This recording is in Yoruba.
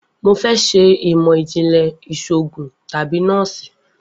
Mo fẹ ṣe imọ-jinlẹ iṣoogun tabi nọọsi